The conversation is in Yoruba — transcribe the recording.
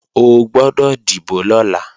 O gbọ́dọ̀ dìbò lọ́la